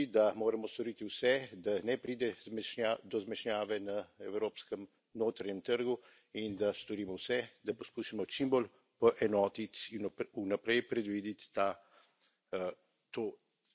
Res pa je tudi, da moramo storiti vse, da ne pride do zmešnjave na evropskem notranjem trgu, in da storimo vse, da poskusimo čim bolj poenotiti in vnaprej predvideti to mavrico sprememb.